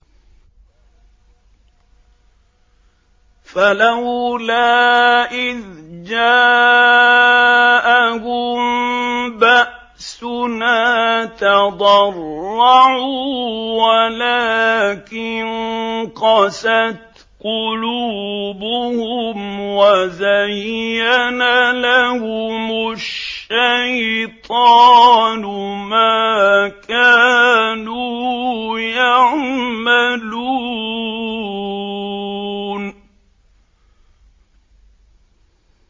فَلَوْلَا إِذْ جَاءَهُم بَأْسُنَا تَضَرَّعُوا وَلَٰكِن قَسَتْ قُلُوبُهُمْ وَزَيَّنَ لَهُمُ الشَّيْطَانُ مَا كَانُوا يَعْمَلُونَ